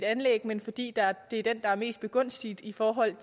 anlæg men fordi det er den der er mest begunstiget i forhold